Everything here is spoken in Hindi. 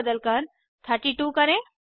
42 को बदलकर 32 करें